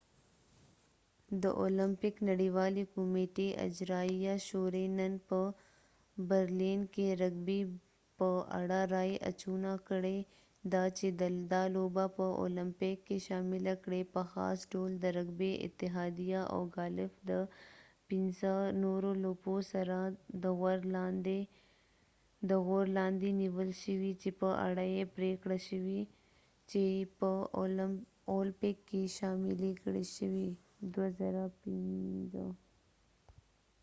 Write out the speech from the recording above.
د اولمپک نړیوالی کمیټی اجرايیه شوری نن په برلین کې رګبی په اړه رای اچونه کړي ده چې دا لوبه په اولمپیک کې شامله کړي په خاص ډول د رګبی اتحاديه او ګالف د پنڅه نورو لوپو سره د غور لاندې نیول شوي چې په اړه یې پریکړه شوي چې په اولپک کې شاملی کړای شي2005